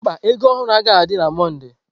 Mba, ego ohuru agaghị adị na Mọnde.